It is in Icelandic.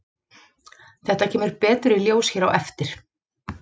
Þetta kemur betur í ljós hér á eftir.